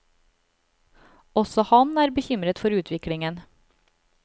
Også han er bekymret for utviklingen.